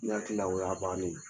N hakili la o y'a bannen ye